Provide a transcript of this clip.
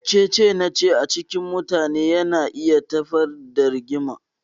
Cece-nace a cikin mutane yana iya tayar da Rigima.